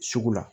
Sugu la